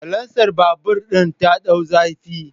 Salansar babur din ta dau zafi